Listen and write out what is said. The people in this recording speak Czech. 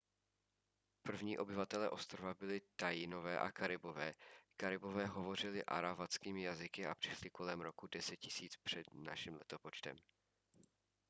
první obyvatelé ostrova byli taínové a karibové karibové hovořili aravackými jazyky a přišli kolem roku 10 000 př n l